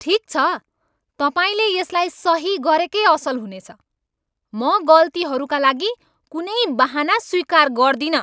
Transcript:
ठिक छ, तपाईँले यसलाई सही गरेकै असल हुनेछ। म गल्तीहरूका लागि कुनै बहाना स्वीकार गर्दिनँ।